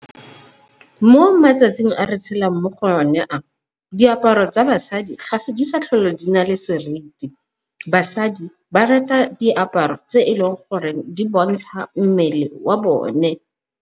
Mo matsatsing a re tshelang mo go o ne a diaparo tsa basadi ga di sa tlhole di nale seriti, basadi ba rata diaparo tse e leng gore di bontsha mmele wa bone.